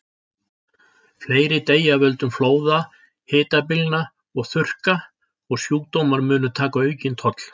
Fleiri deyja af völdum flóða, hitabylgna og þurrka, og sjúkdómar munu taka aukinn toll.